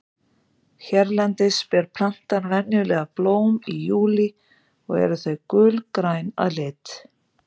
Hérlendis ber plantan venjulega blóm í júlí og eru þau gulgræn að lit.